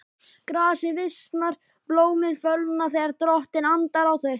Grasið visnar, blómin fölna, þegar Drottinn andar á þau.